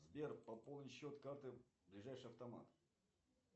сбер пополни счет карты ближайший автомат